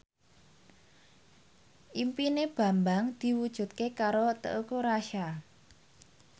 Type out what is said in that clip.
impine Bambang diwujudke karo Teuku Rassya